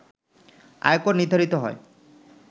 আয়কর নির্ধারিত হয়